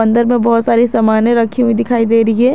अंदर में बहोत सारी सामने रखी हुई दिखाई दे रही है।